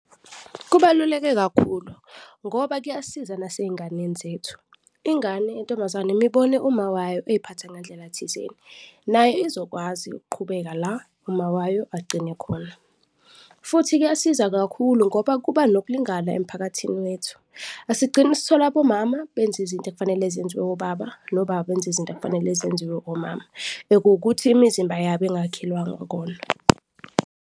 Kubaluleke kakhulu ngoba kuyasiza naseyinganeni zethu, ingane yentombazane mibone uma wayo eziphatha ngendlela thizeni nayo izokwazi ukuqhubeka la uma wayo agcine khona. Futhi kuyasiza kakhulu ngoba kuba nokulingana emphakathini wethu, asigcini sithole abomama benza izinto ekufanele zenziwe obaba nobaba benza izinto ekufanele zenziwe omama, ekuwukuthi imizimba yabo engakhelwanga kona.